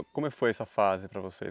E como foi essa fase para você?